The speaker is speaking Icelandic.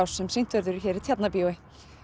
sem sýnt verður hér í Tjarnarbíói